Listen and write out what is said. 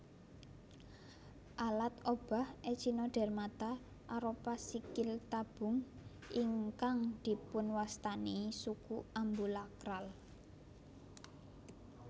Alat obah Echinodermata arupa sikil tabung ingkang dipunwastani suku ambulakral